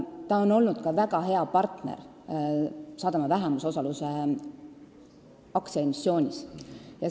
Juhtkond on meile olnud ka väga hea partner sadama vähemusosaluse aktsiaemissioonis.